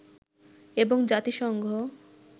এবং জাতিসংঘ